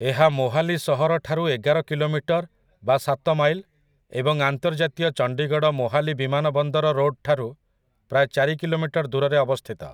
ଏହା ମୋହାଲି ସହରଠାରୁ ଏଗାର କିଲୋମିଟର୍ ବା ସାତ ମାଇଲ୍ ଏବଂ ଆନ୍ତର୍ଜାତୀୟ ଚଣ୍ଡିଗଡ଼ ମୋହାଲି ବିମାନବନ୍ଦର ରୋଡ୍‌ଠାରୁ ପ୍ରାୟ ଚାରି କିଲୋମିଟର ଦୂରରେ ଅବସ୍ଥିତ ।